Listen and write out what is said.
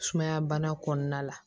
Sumaya bana kɔnɔna la